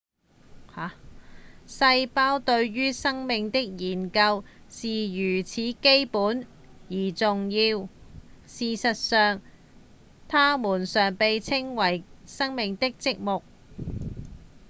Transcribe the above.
細胞對於生命的研究是如此基本而重要事實上它們常被稱作「生命的積木」